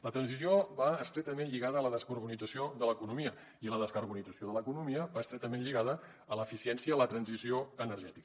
la transició va estretament lligada a la descarbonització de l’economia i la descarbonització de l’economia va estretament lligada a l’eficiència en la transició energètica